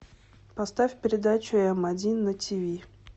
поставь передачу м один на тиви